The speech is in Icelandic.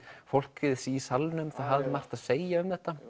fólkið í salnum hafði margt að segja um þetta